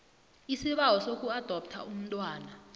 isibawo sokuadoptha umntwana